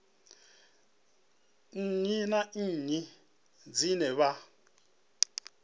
nnyi na nnyi dzine vha